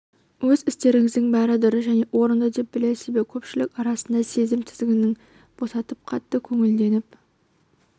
өз істеріңіздің бәрі дұрыс және орынды деп білесіз бе көпшілік арасында сезім тізгінін босатып қатты көңілденіп